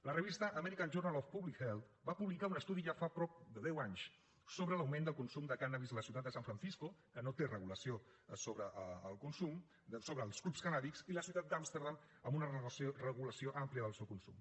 la revista american journal of public health va publicar un estudi ja fa prop de deu anys sobre l’augment del consum de cànnabis a la ciutat de san francisco que no té regulació sobre els clubs cannàbics i la ciutat d’amsterdam amb una regulació àmplia del seu consum